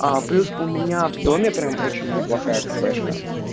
а плюс у меня в доме прям очень неплохая кафешка